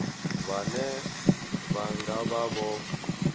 vhane vha nga vha vho